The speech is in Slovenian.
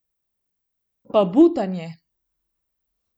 Pa butanje.